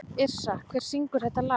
Yrsa, hver syngur þetta lag?